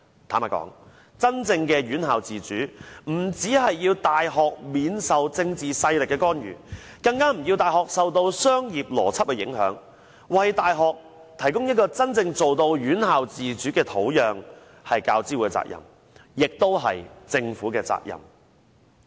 坦白說，真正的院校自主，不單要大學避受政治勢力的干預，更要大學不受商業邏輯的影響，為大學提供真正院校自主的土壤，這是大學教育資助委員會的責任，也是政府的責任。